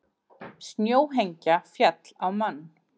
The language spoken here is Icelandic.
Snjóhengja féll á mann